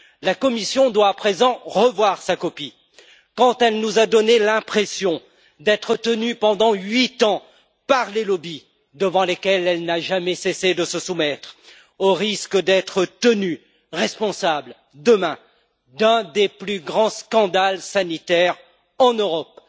La Commission doit à présent revoir sa copie, tant elle nous a donné l'impression d'être tenue pendant huit ans par les lobbies auxquels elle n'a jamais cessé de se soumettre, au risque d'être tenue responsable, demain, d'un des plus grands scandales sanitaires en Europe.